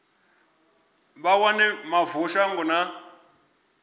vha wane mavu shango na